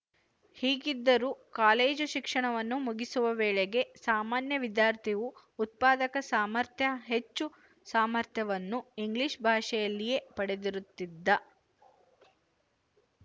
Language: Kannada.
ಹೀಗಿದ್ದರೂ ಕಾಲೇಜು ಶಿಕ್ಷಣವನ್ನು ಮುಗಿಸುವ ವೇಳೆಗೆ ಸಾಮಾನ್ಯ ವಿದ್ಯಾರ್ಥಿಯು ಉತ್ಪಾದಕ ಸಾಮರ್ಥ್ಯ ಹೆಚ್ಚು ಸಾಮರ್ಥ್ಯವನ್ನು ಇಂಗ್ಲಿಶ ಭಾಷೆಯಲ್ಲಿಯೇ ಪಡೆದಿರುತ್ತಿದ್ದ